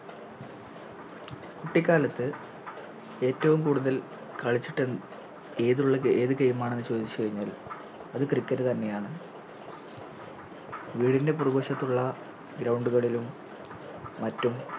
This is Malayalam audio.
കുട്ടിക്കാലത്ത് ഏറ്റവും കൂടുതൽ കളിച്ചിട്ട് ഏതുള്ള ഏത് Game ആണെന്ന് ചോദിച്ച് കയിഞ്ഞാൽ അത് Cricket തന്നെയാണ് വീടിൻറെ പുറകുവശത്തുള്ള Ground കളിലും മറ്റും